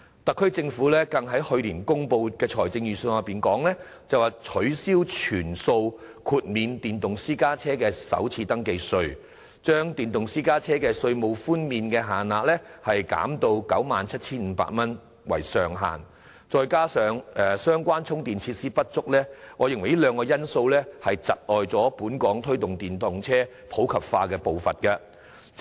特區政府更於去年公布的財政預算案中，取消全數豁免電動私家車首次登記稅的措施，把電動私家車的稅務寬免限額削減至以 97,500 元為上限，加上相關充電設施不足，我認為這是窒礙本港推動電動車普及化步伐的兩大因素。